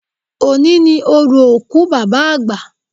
Òní ni orò òkú Bàbá àgbà